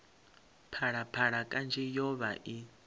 phalaphala kanzhi yo vha i